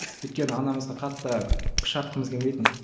өйткені анамызға қатты күш артқымыз келмейтін